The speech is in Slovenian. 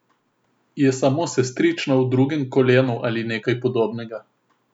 Je samo sestrična v drugem kolenu ali nekaj podobnega.